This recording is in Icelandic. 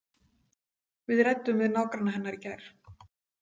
Við ræddum við nágranna hennar í gær.